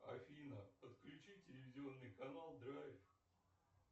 афина подключи телевизионный канал драйв